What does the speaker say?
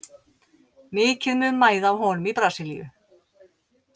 Mikið mun mæða á honum í Brasilíu.